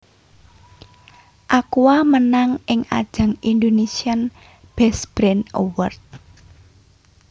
Aqua menang ing ajang Indonesian best Brand Award